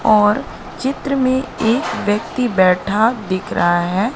और चित्र में एक व्यक्ति बैठा दिख रहा है।